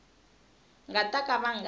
nga ta ka va nga